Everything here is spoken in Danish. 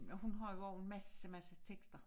Og hun havde også en masse masse tekster